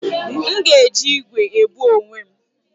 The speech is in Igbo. M ga-eji igwe ebu onwe m